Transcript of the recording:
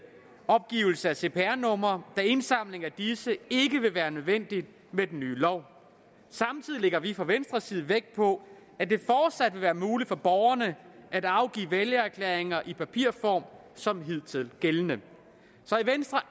opgivelse af cpr numre da indsamling af disse ikke vil være nødvendigt med den nye lov samtidig lægger vi fra venstres side vægt på at det fortsat vil være muligt for borgerne at afgive vælgererklæringer i papirform som hidtil så i venstre